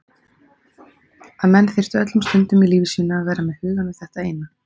Að menn þyrftu að vera öllum stundum í lífi sínu með hugann við þetta eina.